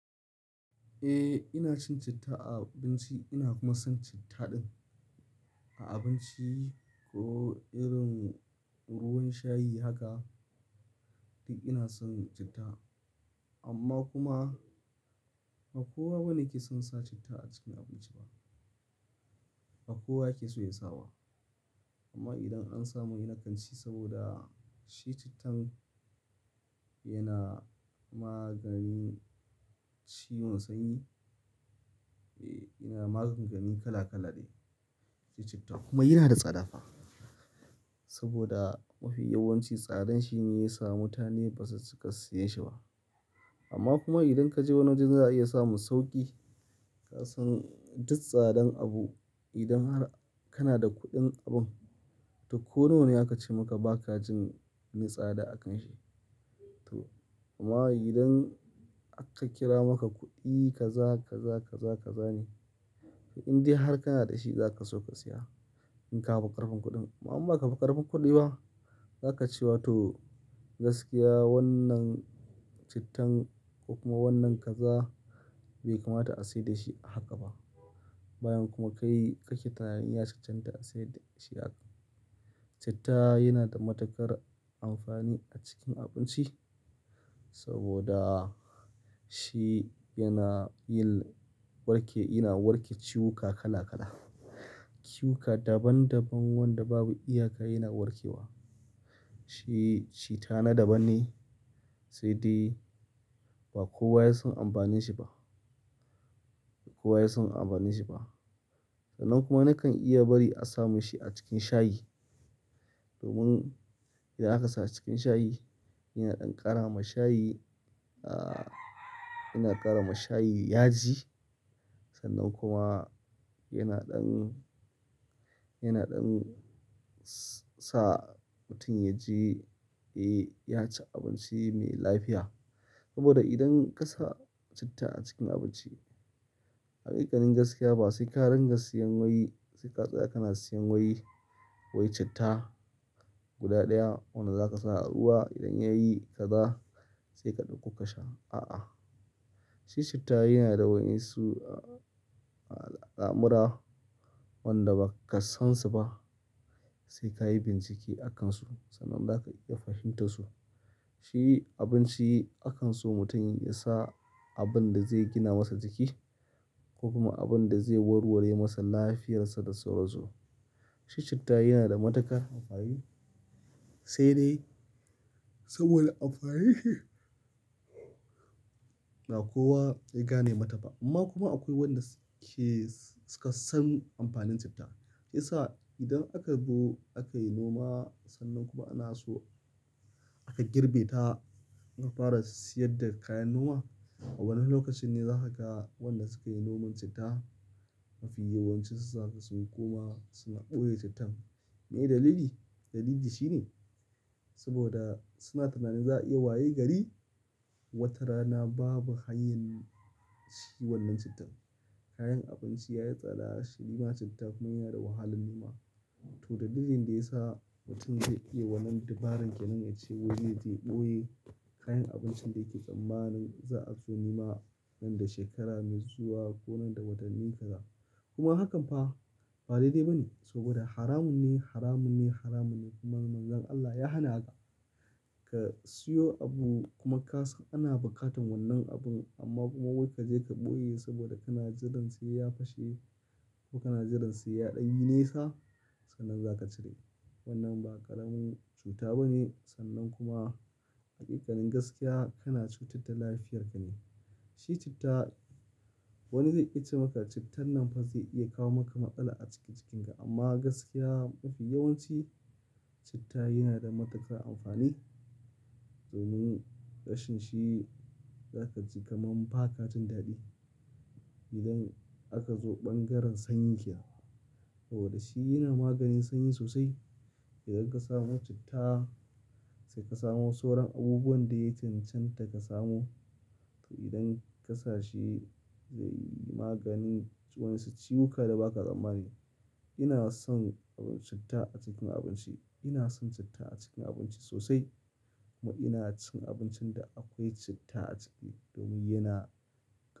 Eh, ina cin citta a abinci ina kuma son citta din. A abinci ko irin ruwan shayi haka duk ina son citta. Amma kuma ba kowa bane yake son sa citta a cikin abinci ba. Ba kowa yake so ya sawa. Amma idan an samu ina kanci saboda shi cittan yana maganin ciwon sanyi. Eh, yana magunguni kala kala ne. Shi citta kuma yana da tsada fa. Saboda mafi yawanci tsadan shi ne ya samu. Mutane ba zasu suka siyan shi ba. Amma kuma idan ka je wani wajen za a iya samun sauƙi, ka san duk tsadan abu idan har kana da kuɗin abun, to ko nawane aka ce maka baka jin ni tsada a kan shi. To amma idan aka kira maka kuɗi ka za, ka za, ka za, ka zane. To in dai har kana da shi za ka so ka siya in ka fi ƙarfin kuɗin. Amma in baka fi ƙarfin kuɗi ba, za ka ce wa to gaskiya wannan cittan ko kuma wannan kaza bai kamata a sayar da shi a haka ba. Bayan kuma kai kake tunanin ya cancanta a sayar da shi haka. Citta yana da matuƙar amfani a cikin abinci saboda shi yana yin warke, yana warke ciwuka kala kala. Ciwuka daban daban wanda babu iyaka yana warke wa. Shi citta na daban ne sai dai ba kowa ya san amfanin shi ba. Ba kowa ya san amfanin shi ba. Sannan kuma nakan iya bari a samu shi a cikin shayi. Domin idan aka sa a cikin shayi yana ɗan ƙara ma shayi, ah, yana ƙara ma shayi yaji. Sannan kuma yana ɗan, yana ɗan sa mutum ya ji, eh, ya ci abinci mai lafiya. Saboda idan ka sa citta a cikin abinci, haƙiƙanin gaskiya ba sai ka ringa siyan woyi sai ka tsaya kana siyan woyi, wai citta guda ɗaya wanda za ka sa a ruwa idan yayi kaza sai ka ɗauko ka sha. A'a. Shi citta yana da waensu, ah, al'amura wanda ba ka sansu ba sai ka yi bincike a kansu sannan za ka iya fahimtar su. Shi abinci akanson mutum ya sa abun da zai gina masa jiki ko kuma abun da zai warware masa lafiyarsa da sauransu. Shi citta yana da matuƙar amfani sai dai saboda amfanin shi ba kowa ya gane mata ba. Amma kuma akwai wanda suke suka san amfanin citta. Shi yasa idan aka zo aka yi noma sannan kuma ana so aka girbe ta aka fara siyar da kayan noma. Wannan lokacin ne za ka ga wanda suka yi noman citta mafi yawanci su saƙa sun koma suna ɓoye cittan. Me dalili? Dalili shi ne saboda suna tunanin za a iya waye gari watarana babu hanyan shi wannan cittan. Kayan abinci ya yi tsada, shi neman citta kuma yana da wahalan nema to dalilin da ya sa mutum zai iya wannan dabarar ke nan ace waje yaje ɓoye kayan abinci da yake tsammanin za a so noma nan da shekara mai zuwa ko nan da watanni kaza. Kuma hakan fa ba daidai ba ne saboda haramun ne, haramun ne, haramun ne kuma Manzon Allah ya hana haka. Ka siyo abu kuma kasan ana bukatan wannan abun amma kuma wai ka je ka ɓoye saboda kana jiran sai ya fashe ko kana jiran sai ya ɗanyi nesa sannan za ka cire. Wannan ba ƙaramin cuta ba ne sannan kuma haƙiƙanin gaskiya kana cutar da lafiyarka ne. Shi citta wani zai iya ce maka cittan nan fa zai iya kawo maka matsala a cikin jikinka amma gaskiya mafi yawanci citta yana da matuƙar amfani. Domin ƙashin shi za ka ji kaman ba ka jin daɗi idan aka zo ɓangaren sanyi kenan. Saboda shi yana maganin sanyi sosai. Idan ka samu citta sai ka samu sauran abubuwan da yake cancanta ka samu. To idan ka sa shi zai yi maganin wasu ciwuka da ba ka tsammani. Ina son abin citta a cikin abinci. Ina son citta a cikin abinci sosai kuma ina cin abincin da akwai citta a ciki domin yana.